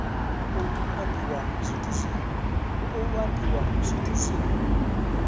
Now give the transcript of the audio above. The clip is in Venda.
hu khou ambiwa zwithu zwi